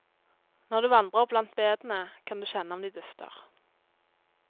Når du vandrer blant bedene, kan du kjenne om de dufter.